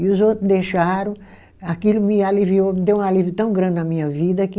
E os outro deixaram, aquilo me aliviou, me deu um alívio tão grande na minha vida que